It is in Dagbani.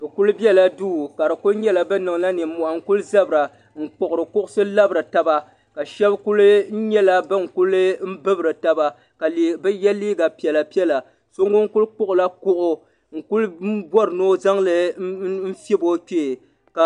Bɛ kuli bela duu ka bɛ kuli nyela bɛ kuli niŋla nimohi n kuli zabira n kpuɣiri kuɣusi n labiri taba ka shɛbi kuli nyela ban kuli bibri taba ka bɛ ye liiga piɛla piɛla so ŋun kuli kpuɣila kuɣu n kuli n bɔri ni o zaŋli fiɛbi o kpee ka.